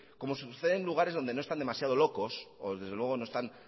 como suceden en lugares donde no están demasiados locos o desde luego no están